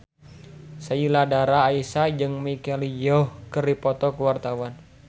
Sheila Dara Aisha jeung Michelle Yeoh keur dipoto ku wartawan